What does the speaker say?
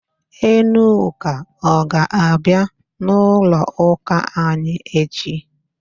Enuka ọ ga-abịa n'ụlọụ́kà anyị echi?